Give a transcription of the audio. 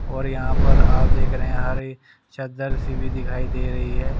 और यहां पर आप देख रहे हैं हरे चद्दर सी भी दिखाई दे रही है।